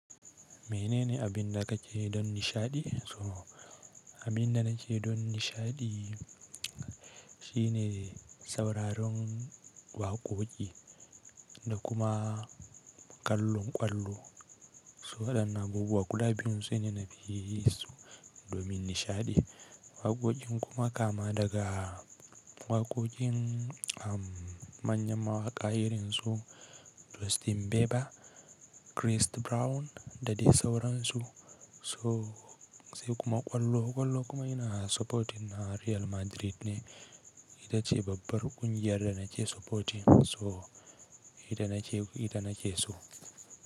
Mene ne abin da ka ce don nishaɗi? So abin da na ke don nishaɗi shine sauraron waƙoƙi da kuma kallon ƙwallo. So waɗannan abubuwa guda biyun sune na fi so domin nishaɗi. Waƙoƙin kuma kama daga waƙoƙin am manyan mawaƙa irin su Justin Bieber, Christ Brown da dai sauransu. So sai kuma ƙwallo, ƙwallo kuma ina supporting na Real Madrid ne. Ita ce babbar ƙungiyar da na ke supporting. So ita na ke, ita na ke so.